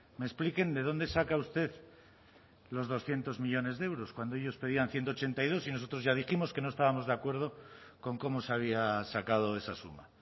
me expliquen de dónde saca usted los doscientos millónes de euros cuando ellos pedían ciento ochenta y dos y nosotros ya dijimos que no estábamos de acuerdo con cómo se había sacado esa suma